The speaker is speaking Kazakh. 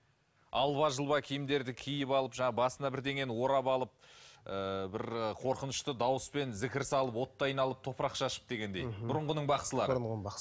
алба жұлба киімдерді киіп алып жаңағы басына біреңені орап алып ыыы бір қорқынышты дауыспен зікір салып отты айналып топырақ шашып дегендей бұрынғынын бақсылары